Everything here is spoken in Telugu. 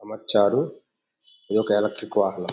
అమర్చారు. ఈ యొక్క ఎలక్ట్రిక్ వాహనం.